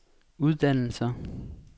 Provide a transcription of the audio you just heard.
uddannelser